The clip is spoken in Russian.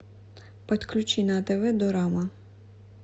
подключи на тв дорама